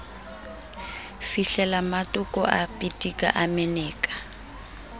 fihlelammatoko a pitika a meneka